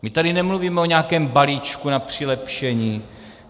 My tady nemluvíme o nějakém balíčku na přilepšení.